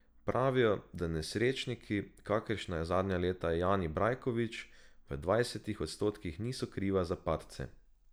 Pravijo, da nesrečniki, kakršen je zadnja leta Jani Brajkovič, v devetdesetih odstotkih niso krivi za padce.